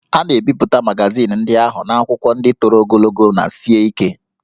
A na-ebipụta magazin ndị ahụ n'akwụkwọ ndị toro ogologo na sie ike